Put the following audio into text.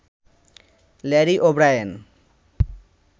Larry O'Brien